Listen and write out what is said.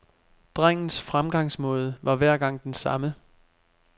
Drengens fremgangsmåde var hver gang den samme.